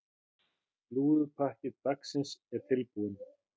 Slúðurpakki dagsins er tilbúinn.